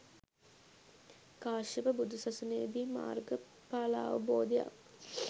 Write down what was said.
කාශ්‍යප බුදුසසුනේදී මාර්ගඵලාවබෝධයක්